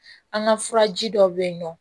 An ka furaji dɔ bɛ yen nɔ